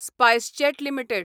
SpiceJet limited